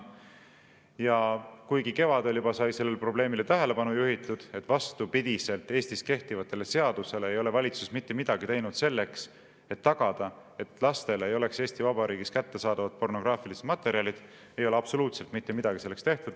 Ja kuigi kevadel juba sai sellele probleemile tähelepanu juhitud, et vastupidi Eestis kehtivatele seadustele ei ole valitsus mitte midagi teinud selleks, et tagada, et lastele ei oleks Eesti Vabariigis kättesaadavad pornograafilised materjalid, ei ole absoluutselt mitte midagi selleks tehtud.